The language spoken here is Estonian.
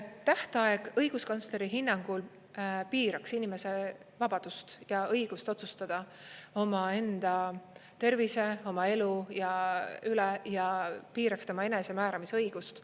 Tähtaeg õiguskantsleri hinnangul piiraks inimese vabadust ja õigust otsustada omaenda tervise, oma elu üle ja see piiraks tema enesemääramisõigust.